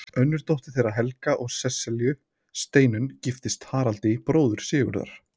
Önnur dóttir þeirra Helga og Sesselju, Steinunn, giftist Haraldi, bróður Sigurðar.